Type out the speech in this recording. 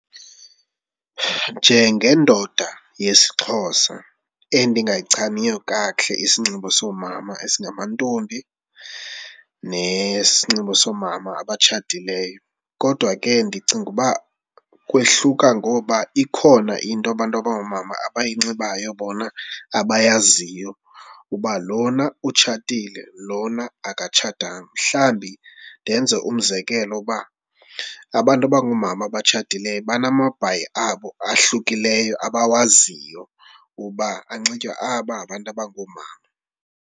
Njengendoda yesiXhosa endingayichaniyo kakuhle isinxibo soomama esingamantombi nesinxibo soomama abatshatileyo kodwa ke ndicinga uba kwehluka ngoba ikhona into abantu abangoomama abayinxibayo bona abayaziyo uba lona utshatile, lona akatshatanga. Mhlawumbi ndenze umzekelo uba abantu abangoomama abatshatileyo banamabhayi abo ahlukileyo abawaziyo uba anxitywa, aba ngabantu abangoomama.